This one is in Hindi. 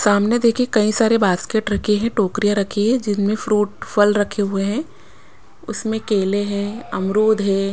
सामने देखिए कई सारे बास्केट रखे हैं टोकरियाँ रखी हैं जिनमें फ्रूट फल रखे हुए हैं उसमें केले हैं अमरूद हैं।